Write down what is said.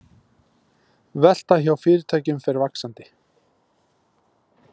Velta hjá fyrirtækjum fer vaxandi